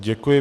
Děkuji.